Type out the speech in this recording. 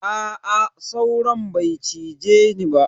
Aa sauron bai cize ni ba.